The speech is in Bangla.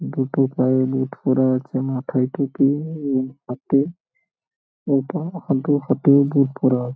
দুটো পায়ে বুট পরা আছে মাথায় টুপি উম হাতে এবং হাতে ফাতে বুট পরা--